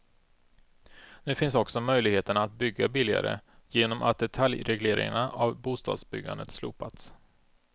Nu finns också möjligheterna att bygga billigare genom att detaljregleringarna av bostadsbyggandet slopats.